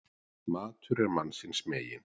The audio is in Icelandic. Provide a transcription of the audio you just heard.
Matur er mannsins megin.